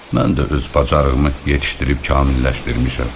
Mən də öz bacarığımı yetişdirib kamilləşdirmişəm.